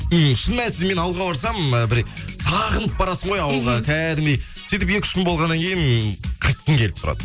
ммм шын мәнісінде мен ауылға барсам ы бір сағынып барасың ғой ауылға кәдімгідей сөйтіп екі үш күн болғаннан кейін қайтқың келіп тұрады